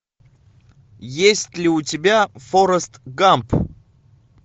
есть ли у тебя форест гамп